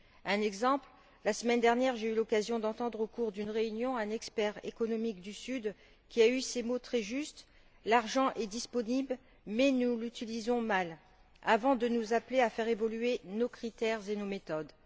Un exemple, la semaine dernière, j'ai eu l'occasion d'entendre au cours d'une réunion un expert économique du Sud qui a eu ces mots très justes l'argent est disponible, mais nous l'utilisons mal, avant de nous appeler à faire évoluer nos critères et nos méthodes.